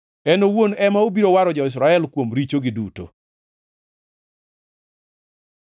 En owuon ema obiro waro jo-Israel kuom richogi duto.